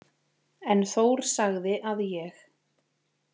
En Þór sagði að ég.